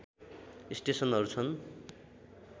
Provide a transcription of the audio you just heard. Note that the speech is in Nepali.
स्टेसनहरू छन्